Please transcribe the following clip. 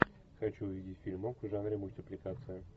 хочу увидеть фильмок в жанре мультипликация